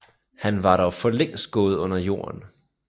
Han var dog for længst gået under jorden